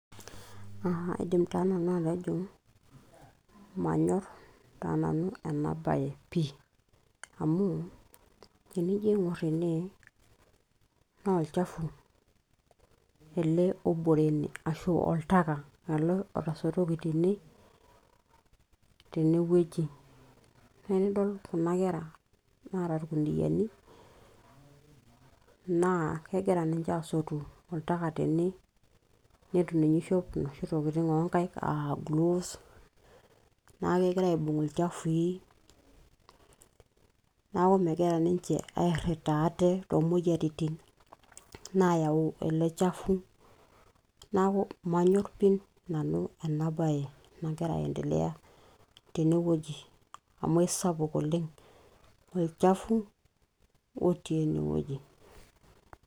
aa aidim taa nanu atejo manyorr taa nanu ena baye pii amu tenijo aing'orr ene naa olchafu ele obore ene ashu oltaka ele otasotoki tene tenewueji naa enidol kuna kera naata irkuniani naa kegira ninche aasotu oltaka tene netu ninye ishop inoshi tokitin oonkaik aa gloves naa kegira aibung ilchafui neeku megira ninche airrita aate toomoyiaritin naayau ele chafu naaku manyorr pii nanu ena baye nagira ae endelea tenewueji amu aisapuk oleng olchafu otii enewoji.